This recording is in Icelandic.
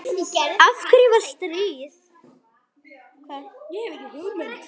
Af hverju var stríð?